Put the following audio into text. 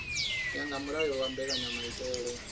ya nga mulayo wa mbekanyamaitele